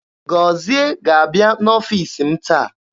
Gozie ga-abịa n'ọfiisi m taa.